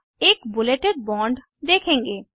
आप एक बुलेटेड बांड देखेंगे